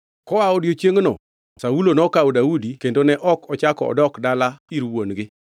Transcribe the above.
Koa odiechiengno Saulo nokawo Daudi kendo ne ok ochako odok dalagi ir wuon-gi.